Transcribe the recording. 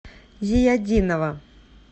зиятдинова